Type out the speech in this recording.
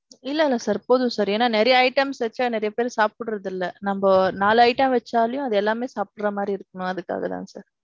இல்ல இல்ல sir. போதும் sir. என்னன்னா நிறைய items வச்சா நிறைய பேர் சாப்புட்றது இல்ல. நம்ப நாலு item வச்சாலே அது எல்லாமே சாப்புட்ற மாறி இருக்கணும் அதுக்காக தான் sir.